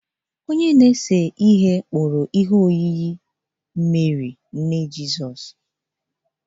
Onye na-ese ihe kpụrụ ihe oyiyi Meri, nne Jizọs